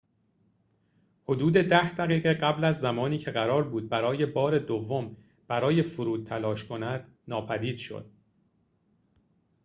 حدود ده دقیقه قبل از زمانی که قرار بود برای بار دوم برای فرود تلاش کند ناپدید شد